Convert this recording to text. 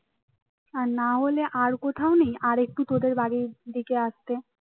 আর না হলে আর কোথাও নেই আরেকটু তোদের বাড়ির দিকে আসতে